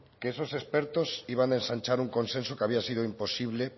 que esos expertos iban a ensanchar un consenso que había sido imposible